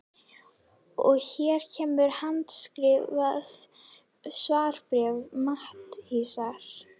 Og hér kemur handskrifað svarbréf Matthíasar